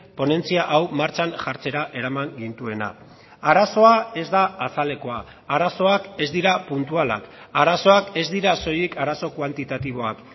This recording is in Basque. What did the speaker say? ponentzia hau martxan jartzera eraman gintuena arazoa ez da azalekoa arazoak ez dira puntualak arazoak ez dira soilik arazo kuantitatiboak